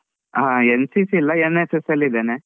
ಹಾ NCC ಇಲ್ಲ NSS ಅಲ್ ಇದ್ದೇನೆ.